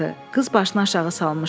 Qız başını aşağı salmışdı.